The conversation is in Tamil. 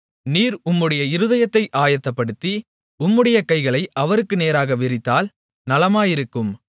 நீர் உம்முடைய இருதயத்தை ஆயத்தப்படுத்தி உம்முடைய கைகளை அவருக்கு நேராக விரித்தால் நலமாயிருக்கும்